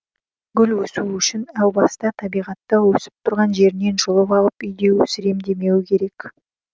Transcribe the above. гүл өсуі үшін әу баста табиғатта өсіп тұрған жерінен жұлып алып үйде өсірем демеуі керек